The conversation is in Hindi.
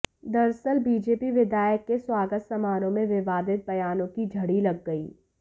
दरसअल बीजेपी विधायक के स्वागत समारोह में विवादित बयानों की झड़ी लग गई